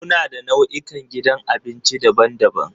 Muna da nau'ikan gidan abinci daban-daban.